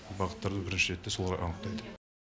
бағыттарды бірінші ретте солар анықтайды